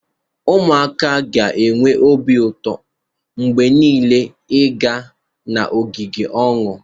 Ụmụaka ga-enwe obi ụtọ mgbe niile ịga n'ogige ahụ